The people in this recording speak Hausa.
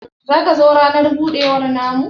zaka zo ranan budewa na mu?